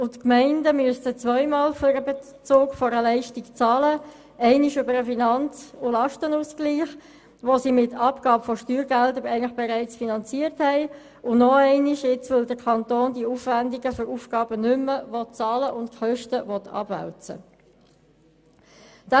Die Gemeinden müssten zweimal für den Bezug einer Leistung bezahlen: einmal über den Finanz- und Lastenausgleich, den sie mit der Abgabe von Steuergeldern eigentlich bereits finanziert haben, und noch einmal, weil der Kanton die Aufwendungen für gewisse Aufgaben nicht mehr bezahlen und die Kosten stattdessen abwälzen will.